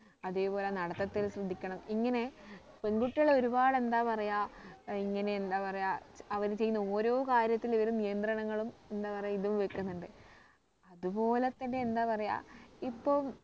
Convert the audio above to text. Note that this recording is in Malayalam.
അതേപോലെ നടത്തത്തിൽ ശ്രദ്ധിക്കണം ഇങ്ങനെ പെൺകുട്ടികളെ ഒരുപാട് എന്താ പറയാ ഇങ്ങനെ എന്താ പറയാം അവര് ചെയ്യുന്ന ഓരോ കാര്യത്തിലും ഇവര് നിയന്ത്രണങ്ങളും എന്താ പറയാ ഇതും വെക്കുന്നുണ്ട് അതുപോലെ തന്നെ എന്താ പറയാം ഇപ്പം